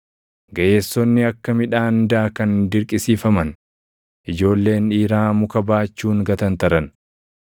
Gaʼeessonni akka midhaan daakan dirqisiifaman; ijoolleen dhiiraa muka baachuun gatantaran.